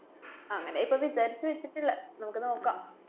അങ്ങനെയിപ്പ വിചാരിച്ച് വച്ചിട്ടിള്ളെ. നമുക്ക് നോക്കാം.